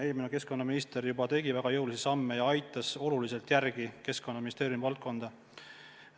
Eelmine keskkonnaminister juba tegi väga jõulisi samme ja aitas Keskkonnaministeeriumi valdkonda selles mõttes kõvasti edasi.